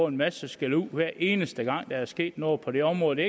en masse skældud hver eneste gang der er sket noget på det område det